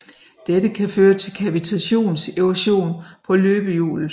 Dette kan føre til kavitationserosion på løbehjulet